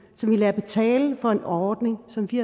som vi lader betale for en ordning som vi